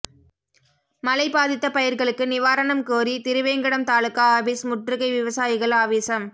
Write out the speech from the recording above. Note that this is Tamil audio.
மழை பாதித்த பயிர்களுக்கு நிவாரணம் கோரி திருவேங்கடம் தாலுகா ஆபிஸ் முற்றுகை விவசாயிகள் ஆவேசம்